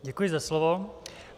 Děkuji za slovo.